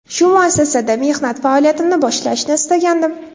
Shu muassasada mehnat faoliyatimni boshlashni istagandim.